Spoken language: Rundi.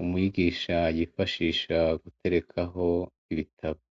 umwigisha yifashisha guterekaho ibitabo.